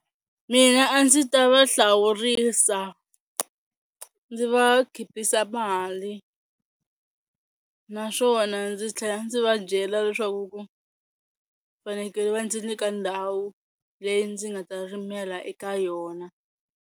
Mina a ndzi ta va hlawurisa ndzi va khipisa mali naswona ndzi tlhela ndzi va byela leswaku ku fanekele va ndzi nyika ndhawu leyi ndzi nga ta rimela eka yona.